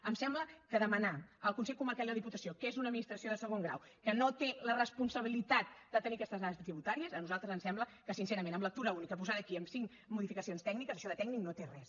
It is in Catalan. em sembla que demanar al consell comarcal i a la diputació que és una administració de segon grau que no té la responsabilitat de tenir aquestes dades tributàries a nosaltres ens sembla que sincerament en lectura única posada aquí amb cinc modificacions tècniques això de tècnic no en té res